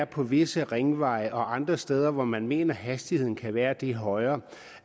på visse ringveje og andre steder hvor man mener at hastigheden kan være det højere